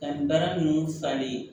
Ka nin baara nunnu falen